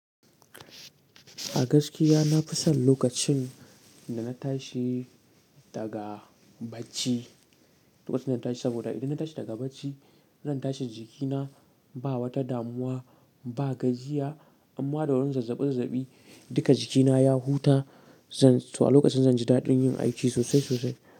A gaskiya na fi son lokacin da na tashi daga bacci, lokacin da na tashi, saboda idan na tashi daga bacci, zan tashi jikina ba wata damuwa, ba gajiya imma da wurin zazzabi zazzabi duka jikina ya huta. Zan-- to a lokacin zan ji daɗin yin aiki sosai sosai.